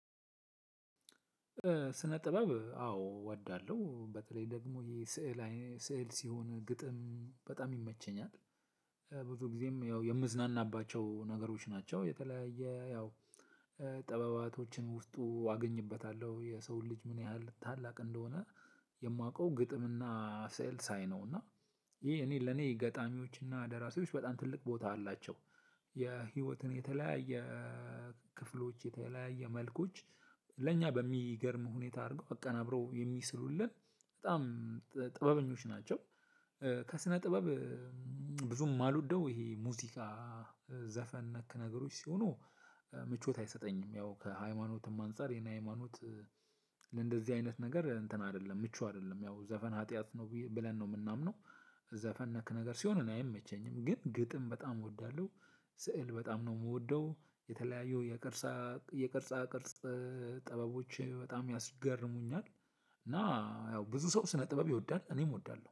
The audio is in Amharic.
ስነ ጥበብ አዎ ወዳለሁ። በተለይ ደግሞ ይሄ ስዕል ሲሆን ግጥም በጣም ይመቸኛል ብዙ ጊዜም ያው የምዝናናባቸው ነገሮች ናቸው። የተለያየ ያው ጥበባቶችን ውስጡ አገኝበታለሁ። የሰው ልጅ ምን ያህል ታላቅ እንደሆነ የማውቀው ግጥምና ስዕል ሳይ ነው። እና ይሄ እኔ ለኔ ገጣሚዎችና ደራሲዎች በጣም ትልቅ ቦታ አላቸው። የህይወትን የተለያየ ክፍሎች፣ የተለያየ መልኮች ለእኛ በሚገርም ሁኔታ አድርገው አቀናብረው የሚስሉልን በጣም ጥበበኞች ናቸው። ከስነ ጥበብ ብዙም የማልወደው ይሄ ሙዚቃ፣ ዘፈን ነክ ነገሮች ሲሆኑ ምቾት አይሰጠኝም። ያው ከ ሃይማኖትም አንፃር የኔ ሃይማኖት ለእንደዚህ አይነት ነገር እንትን አይደለም ምቹ አይደለም። ያው ዘፈን ሀጥያት ነው ብለን ነው ምናምነው። ዘፈን ነክ ነገር ሲሆን እኔ አይመቸኝም። ግን ግጥም በጣም እወዳለሁ ስዕል በጣም ነው የምወደው። የተለያዩ የቅርጻ ቅርጽ ጠበቦች በጣም ያስገርሙኛል። እና ያው ብዙ ሰው ስነ ጥበብ ይወዳል እኔም እወዳለሁ።